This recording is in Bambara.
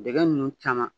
Dɛgɛ ninnu caman